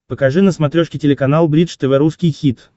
покажи на смотрешке телеканал бридж тв русский хит